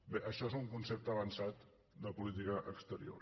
bé això és un concepte avançat de política exterior